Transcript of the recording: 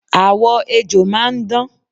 Àwọ ejò máa ń dán